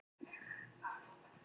Áhöfnin er heil á húfi